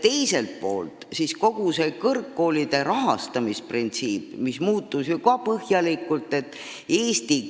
Teiselt poolt on ju ka kogu kõrgkoolide rahastamise printsiip põhjalikult muutunud.